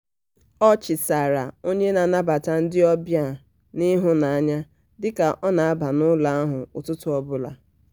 ọ chịsaara onye na-anabata ndị obịa n'ịhụnanya dị ka ọ na-aba n'ụlọ ahụ ụtụtụ ọbụla.